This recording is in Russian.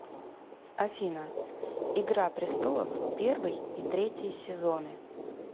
афина игра престолов первый и третий сезоны